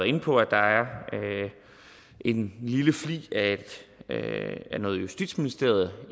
inde på at der er en lille flig af justitsministeriets